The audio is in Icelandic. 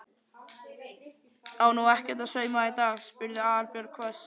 Á nú ekkert að sauma í dag? spurði Aðalbjörg hvöss.